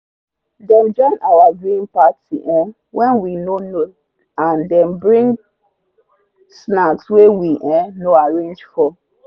them join our viewing party um when we no know and them bring snacks wey we um no arrange for.